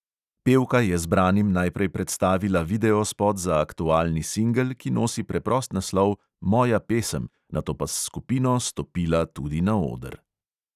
Pevka je zbranim najprej predstavila videospot za aktualni singel, ki nosi preprost naslov "moja pesem", nato pa s skupino stopila tudi na oder.